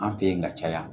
An fe yen ka caya